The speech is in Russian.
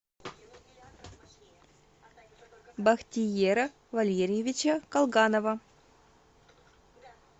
бахтиера валерьевича колганова